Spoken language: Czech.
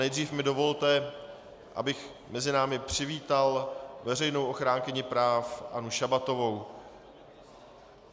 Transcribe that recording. Nejdřív mi dovolte, abych mezi námi přivítal veřejnou ochránkyni práv Annu Šabatovou.